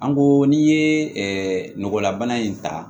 An ko n'i ye nɔgɔlabana in ta